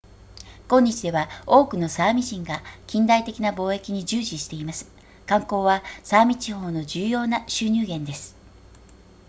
今日では多くのサーミ人が近代的な貿易に従事しています観光はサーミ地方の重要な収入源です